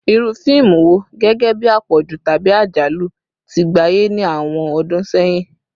Iru fiimu wo, gẹgẹbi apọju tabi ajalu, ti gbaye ni awọn ọdun sẹyin?